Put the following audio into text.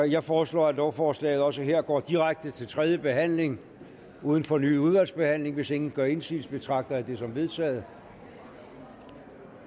jeg foreslår at lovforslaget også her går direkte til tredje behandling uden fornyet udvalgsbehandling hvis ingen gør indsigelse betragter det som vedtaget